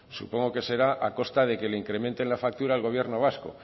supongo que será a costa de que le incrementen la factura al gobierno vasco